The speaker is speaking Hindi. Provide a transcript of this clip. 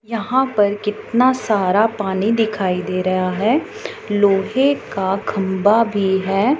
यहां पर कितना सारा पानी दिखाई दे रहा है लोहे का खंबा भी है।